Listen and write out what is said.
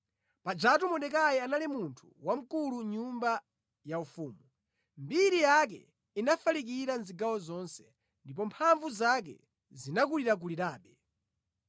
Pajatu Mordekai anali munthu wamkulu mʼnyumba ya ufumu. Mbiri yake inafalikira zigawo zonse, ndipo mphamvu zake zinakulirakulirabe.